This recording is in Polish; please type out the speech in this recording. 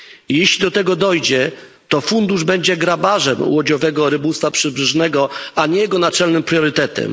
Jeśli do tego dojdzie, to fundusz będzie grabarzem łodziowego rybołówstwa przybrzeżnego, a nie jego naczelnym priorytetem.